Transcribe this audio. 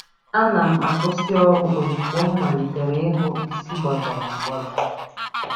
A na'm-akwụsị ọrụ ozugbo m malitere ịhụ isi gbagọrọ agbagọ.